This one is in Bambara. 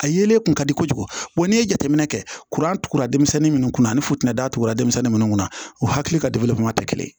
A yelen kun ka di kojugu n'i ye jateminɛ kɛ kuran tugura denmisɛnnin minnu kun ani futinɛ datugura denmisɛnnin minnu kunna u hakili ka degeli fana tɛ kelen ye